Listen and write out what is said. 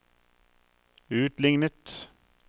utlignet